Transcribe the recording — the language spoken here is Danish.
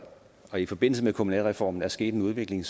og i forbindelse med kommunalreformen er sket en udvikling